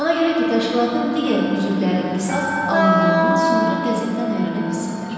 Ona görə ki, təşkilatın digər üzvləri qisas alındığını sonra qəzetdən öyrənə bilsinlər.